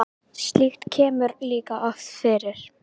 Slíkt kemur líka oft fyrir.